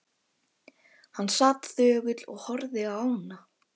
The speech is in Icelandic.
Hann sat þögull og horfði á ána.